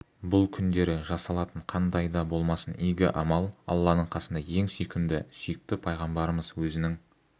бұл күндері жасалатын қандай да болмасын игі амал алланың қасында ең сүйкімді сүйікті пайғамбарымыз өзінің